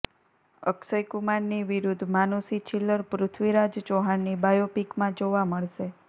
અક્ષય કુમારની વિરુદ્ધ માનુષી છિલ્લર પૃથ્વીરાજ ચૌહાણની બાયોપિકમાં જોવા મળશે